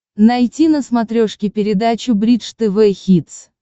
найти на смотрешке передачу бридж тв хитс